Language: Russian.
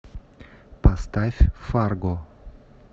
поставь фарго